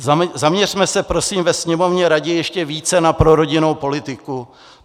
Zaměřme se prosím ve Sněmovně raději ještě více na prorodinnou politiku.